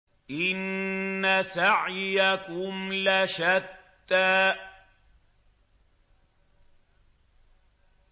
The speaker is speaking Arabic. إِنَّ سَعْيَكُمْ لَشَتَّىٰ